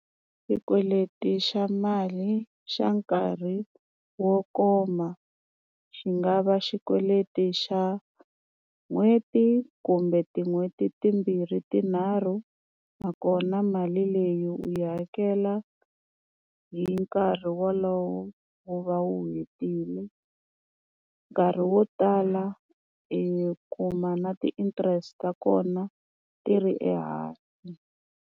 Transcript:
Xikweleti xa mali xa nkarhi wo koma xi nga va xikweleti xa n'hweti kumbe tin'hweti timbirhi tinharhu nakona mali leyi u yi hakela hi nkarhi wolowo wu va wu hetile nkarhi wo tala i kuma na ti-interest ta kona ti ri ehansi.